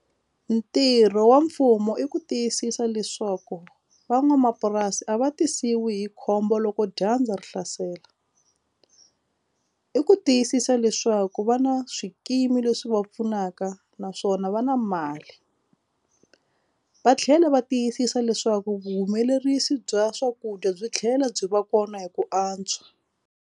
Ntirho wa mfumo i ku tiyisisa leswaku van'wamapurasi a va tisiwe hi khombo loko dyandza ri hlasela i ku tiyisisa leswaku vana a swikimi leswi va pfunaka naswona va na mali va tlhela va tiyisisa leswaku vuhumelerisi bya swakudya byi tlhela byi va kona hi ku antswa.